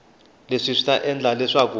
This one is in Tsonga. leswi swi ta endla leswaku